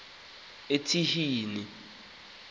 etyhini